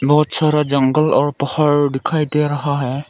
बहुत सारा जंगल और पहाड़ दिखाई दे रहा है।